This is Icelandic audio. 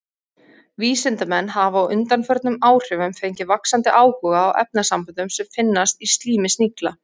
Vísindamenn hafa á undanförnum áhrifum fengið vaxandi áhuga á efnasamböndum sem finnast í slími snigla.